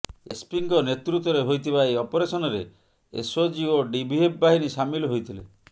ଏସ୍ପିଙ୍କ ନେତୃତ୍ୱରେ ହୋଇଥିବା ଏହି ଅପରେସନରେ ଏସ୍ଓଜି ଏବଂ ଡିଭିଏଫ୍ ବାହିନୀ ସାମିଲ୍ ହୋଇଥିଲେ